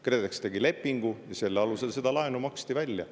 KredEx tegi lepingu ja selle alusel maksti seda laenu välja.